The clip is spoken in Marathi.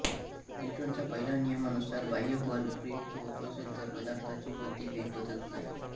न्यूटनच्या पहिल्या नियमानुसार बाह्य बल प्रयुक्त होत नसेल तर पदार्थाची गती वेग बदलत नाही